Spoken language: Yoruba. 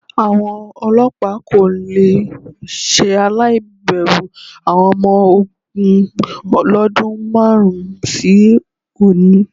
Àwọn olọ́pàá kò le ṣaláì bẹ̀rù àwọn ọmọ ogún lọ́dún márùn-ún sí òní.